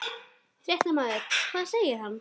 Fréttamaður: Hvað segir hann?